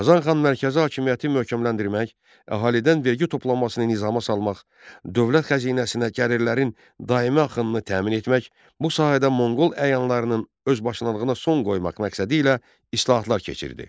Qazan xan mərkəzi hakimiyyəti möhkəmləndirmək, əhalidən vergi toplanmasını nizama salmaq, dövlət xəzinəsinə gəlirlərin daimi axınını təmin etmək, bu sahədə Monqol əyanlarının özbaşınalığına son qoymaq məqsədilə islahatlar keçirdi.